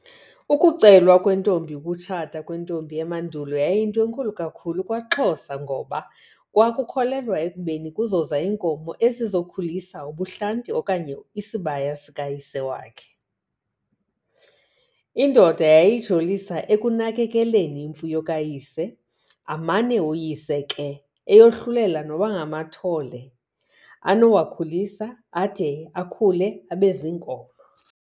Ukucelwa Kwentombi Ukutshata kwentombi emandulo yayinto enkulu kakhulu kwaXhosa ngoba kwakukholelwa ekubeni kuzoza iinkomo ezizokhulisa ubuhlanti okanye isibaya sika Yise wakhe. Iindoda yayijolisa ekunakekeleni iimfuyo kaYise, amane uyise ke eyohlulela noba ngamathole anowakhulisa ade akhulu abeziinkomo.